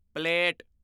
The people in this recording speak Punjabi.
ਪਲੇਟ